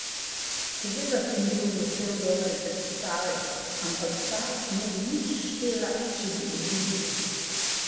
Seveda sem bil vesel dobre predstave, ampak ta ne bi nič štela, če bi izgubili.